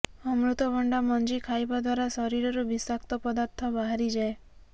ଅମୃତଭଣ୍ଡା ମଞ୍ଜି ଖାଇବା ଦ୍ୱାରା ଶରୀରରୁ ବିଷାକ୍ତ ପଦାର୍ଥ ବାହାରି ଯାଏ